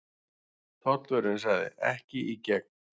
Tollvörðurinn sagði: Ekki í gegn.